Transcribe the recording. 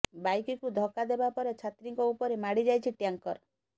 ବାଇକ୍କୁ ଧକ୍କା ଦେବା ପରେ ଛାତ୍ରୀଙ୍କ ଉପରେ ମାଡିଯାଇଛି ଟ୍ୟାଙ୍କର